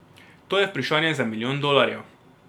To je vprašanje za milijon dolarjev.